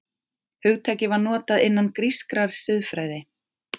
Hugtakið var notað innan grískrar siðfræði.